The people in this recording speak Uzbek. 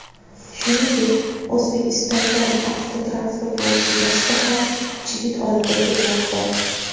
Shuningdek, O‘zbekistondan avtotransport vositasida ham chigit olib o‘tilmoqda.